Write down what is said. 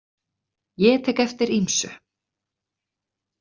Ég tek eftir ýmsu.